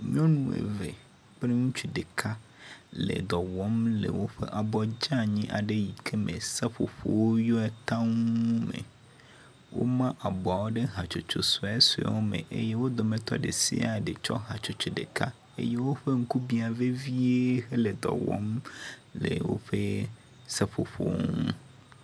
Nyɔnu eve kple ŋutsu ɖeka le dɔwɔm le woƒe abɔ dzeanyi yi ke me seƒoƒowo yɔe taŋ le woma abɔawo ɖe hatsotso suesuesuewo me eye wo dometɔ ɖe sia ɖe tsɔ hatsotso ɖeka eye wole dɔ wɔm le woƒe seƒoƒo ŋu.